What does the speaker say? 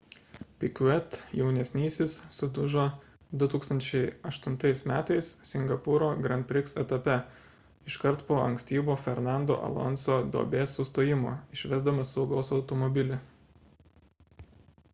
piquet jaunesnysis sudužo 2008 m singapūro grand prix etape iškart po ankstyvo fernando alonso duobės sustojimo išvesdamas saugos automobilį